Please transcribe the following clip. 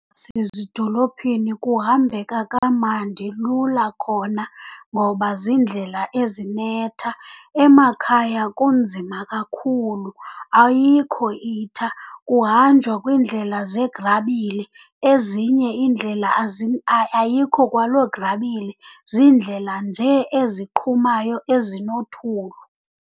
kuhambeka kamandi, lula khona ngoba ziindlela ezinetha. Emakhaya kunzima kakhulu, ayikho itha, kuhanjwa kwiindlela zegrabile. Ezinye iindlela ayikho kwaloo grabile, ziindlela nje eziqhumayo, ezinothulu.